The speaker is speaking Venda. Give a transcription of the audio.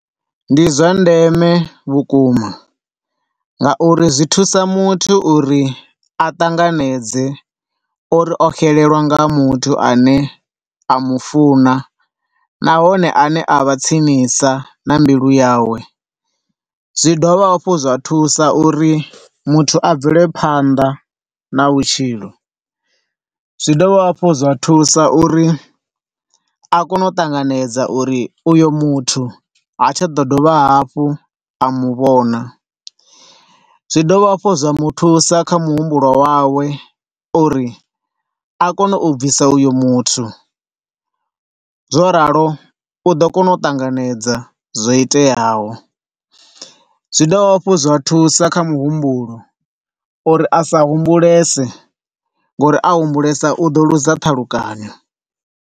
Ndi zwa ndeme vhukuma nga uri zwithusa muthu uri a ṱanganedze uri o xelelwa nga muthu ane a mufuna nahone a ne a vha tsinisa na mbilu yawe, zwi dovha hafhu zwa thusa uri muthu a bvele phanḓa na vhutshilo. Zwi dovha hafhu zwa thusa uri a kone u ṱanganedza uri uyo muthu hatsha ḓo dovha hafhu a muvhona. Zwi dovha hafhu zwa muthusa kha muhumbulo wawe uri a kone u bvisa iyo muthu. Zwo ralo u ḓo kona u tanganedza zwo iteyaho. Zwi dovha hafhu zwa thusa kha muhumbulo uri a sa humbulese ngo uri a humbulesa u ḓo luza ṱhalukanyo.